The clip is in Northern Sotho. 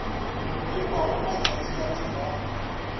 e hwago matšatši batho ba